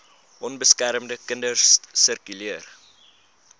onbeskermde kinders sirkuleer